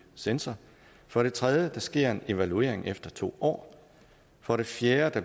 censor for det tredje sker der en evaluering efter to år for det fjerde